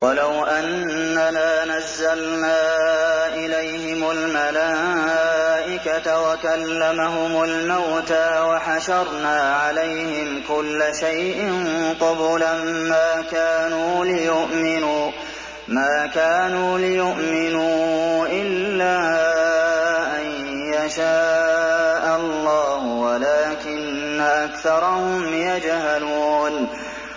۞ وَلَوْ أَنَّنَا نَزَّلْنَا إِلَيْهِمُ الْمَلَائِكَةَ وَكَلَّمَهُمُ الْمَوْتَىٰ وَحَشَرْنَا عَلَيْهِمْ كُلَّ شَيْءٍ قُبُلًا مَّا كَانُوا لِيُؤْمِنُوا إِلَّا أَن يَشَاءَ اللَّهُ وَلَٰكِنَّ أَكْثَرَهُمْ يَجْهَلُونَ